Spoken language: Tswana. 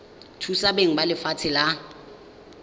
thusa beng ba lefatshe la